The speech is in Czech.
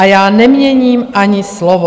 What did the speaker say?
A já neměním ani slovo.